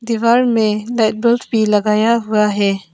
दिवाल में भी लगाया हुआ है।